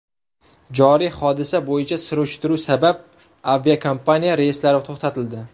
Joriy hodisa bo‘yicha surishtiruv sabab, aviakompaniya reyslari to‘xtatildi.